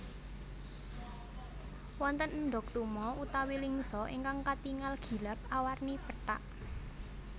Wonten endog tuma utawi lingsa ingkang katingal gilap awarni pethak